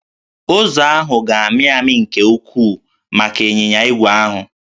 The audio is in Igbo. Ụzọ ahụ ga-amị amị nke ukwuu maka ịnyịnya ígwè ahụ